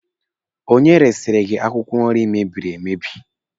Onye resiri gị akwụkwọ nri mebiri emebi?